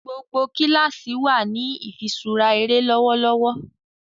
gbogbo kilasi wá ní ifiṣura eré lọwọlọwọ.